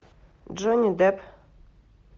джонни депп